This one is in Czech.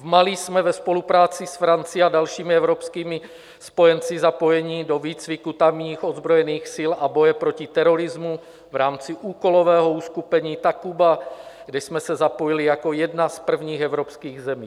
V Mali jsme ve spolupráci s Francií a dalšími evropskými spojenci zapojeni do výcviku tamních ozbrojených sil a boje proti terorismu v rámci úkolového uskupení Takuba, kde jsme se zapojili jako jedna z prvních evropských zemí.